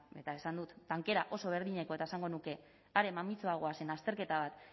eta esan dut tankera oso berdineko eta esango nuke are mamitsuagoa zen azterketa bat